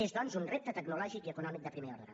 és doncs un repte tecnològic i econòmic de primer ordre